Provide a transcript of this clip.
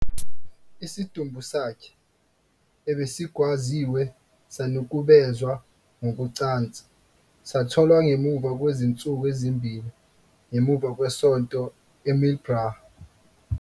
Isidumbu sakhe, ebesigwaziwe sanukubezwa ngokocansi, satholwa ngemuva kwezinsuku ezimbili ngemuva kwesonto eMillbrae.